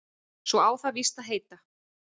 Svo á það víst að heita